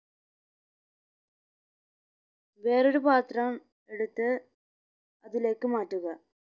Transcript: വേറൊരു പാത്രം എടുത്ത് അതിലേക്ക് മാറ്റുക